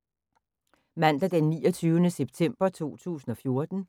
Mandag d. 29. september 2014